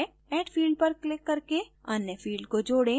add field पर click करके अन्य field को जोडें